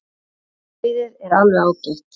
Brauðið er alveg ágætt.